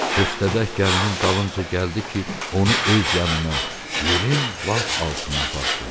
Köstəbək gəlinin dalınca gəldi ki, onu öz yanına, yerin lap altına aparsın.